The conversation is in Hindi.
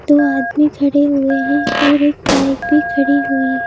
दो आदमी खड़े हुए हैं और एक बाइक भी खड़ी हुई--